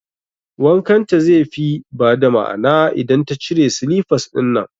Wankan ta ze fi ba da ma'ana idan ta cire silifas ɗinnan